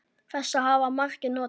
Þess hafa margir notið.